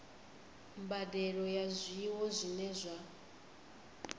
mbadelo ya zwiwo zwine zwa